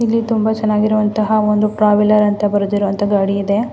ಇಲ್ಲಿ ತುಂಬ ಚೆನ್ನಾಗಿರುವಂತಹ ಟ್ರಾವೆಲ್ಲರ್ ಅಂತ ಬರೆದಿರುವ ಗಾಡಿ ಇದೆ.